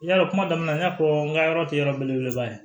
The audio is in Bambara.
N y'a dɔn kuma daminɛ na n y'a fɔ n ka yɔrɔ tɛ yɔrɔ belebeleba ye